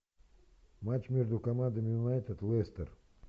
матч между командами юнайтед лестер